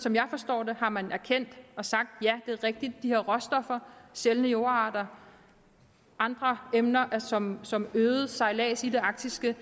som jeg forstår det har man erkendt og sagt at det er rigtigt at de her råstoffer sjældne jordarter og andre emner som som øget sejlads i det arktiske